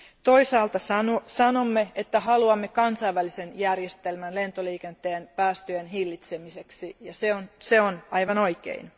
Toisaalta sanomme, että haluamme kansainvälisen järjestelmän lentoliikenteen päästöjen hillitsemiseksi, ja se on aivan oikein.